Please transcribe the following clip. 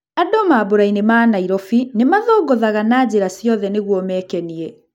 Andũ mambũrainĩ ma Nairobi nĩmathũngũthaga na njĩra ciothe nĩguo mekenie.